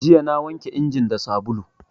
Jiya na wanke injin da sabulu